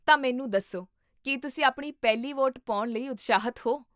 ਤਾਂ ਮੈਨੂੰ ਦੱਸੋ, ਕੀ ਤੁਸੀਂ ਆਪਣੀ ਪਹਿਲੀ ਵੋਟ ਪਾਉਣ ਲਈ ਉਤਸ਼ਾਹਿਤ ਹੋ?